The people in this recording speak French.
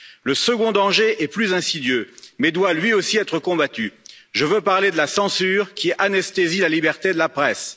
Le second danger est plus insidieux, mais doit lui aussi être combattu, je veux parler de la censure qui anesthésie la liberté de la presse.